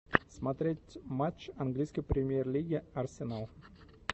смотреть матч английской премьер лиги арсенал